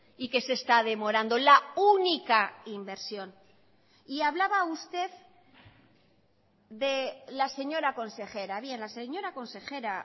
y que se está demorando la única inversión y hablaba usted de la señora consejera bien la señora consejera